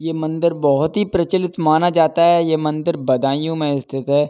ये मंदिर बोहोत ही प्रचलित माना जाता है। ये मंदिर बदायूं में स्थित है।